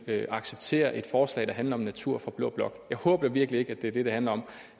acceptere et forslag der handler om natur fra blå blok jeg håber virkelig ikke at det er det det handler om